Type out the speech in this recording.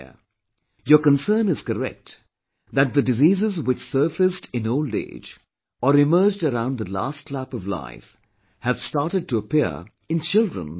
Your concern is correct that the diseases which surfaced in old age, or emerged around the last lap of life have started to appear in children nowadays